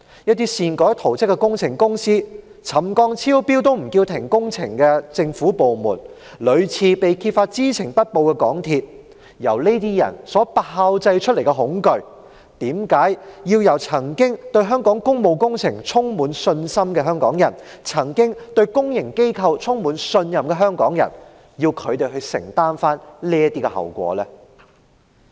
由擅改圖則的工程公司、沉降超標也不叫停工程的政府部門、屢次被揭發知情不報的港鐵公司炮製出來的恐懼，為何要由曾經對香港工務工程充滿信心、對公營機構充滿信任的香港人承擔後果呢？